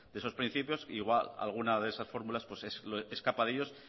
de esos principios igual alguna de esas fórmulas escapa de ellos